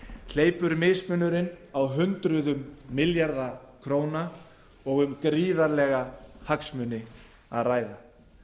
hleypur mismunurinn á hundruðum milljarða króna og um gríðarlega hagsmuni að ræða